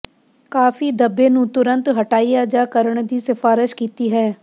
ਕਾਫੀ ਧੱਬੇ ਨੂੰ ਤੁਰੰਤ ਹਟਾਇਆ ਜਾ ਕਰਨ ਦੀ ਸਿਫਾਰਸ਼ ਕੀਤੀ ਹੈ